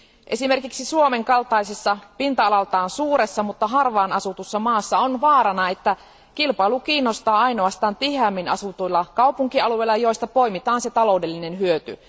Esimerkiksi Suomen kaltaisessa pinta alaltaan suuressa, mutta harvaanasutussa maassa on vaarana, että kilpailu kiinnostaa ainoastaan tiheämmin asutuilla kaupunkialueilla, joista poimitaan se taloudellinen hyöty.